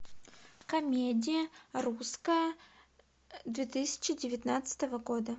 комедия русская две тысячи девятнадцатого года